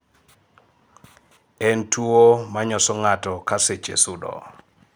en tuwo manyoso ng'ato ka seche sudo